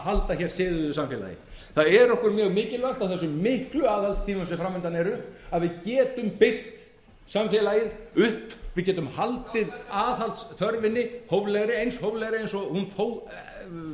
halda hér siðuðu samfélagi það er okkur mjög mikilvægt á þessum miklu aðhaldstímum sem framundan eru að við getum byggt samfélagið upp við getum haldið aðhaldsþörfinni hóflegri eins hóflegri og hún þó